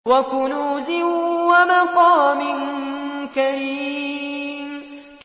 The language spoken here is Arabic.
وَكُنُوزٍ وَمَقَامٍ كَرِيمٍ